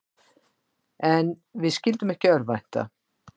En við skyldum ekki örvænta.